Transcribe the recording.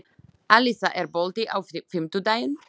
Alisa, er bolti á fimmtudaginn?